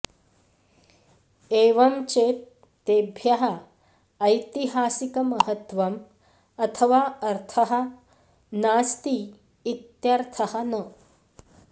एवं चेत् तेभ्यः ऐतिहासिकमहत्वम् अथवा अर्थः नास्ति इत्यर्थः न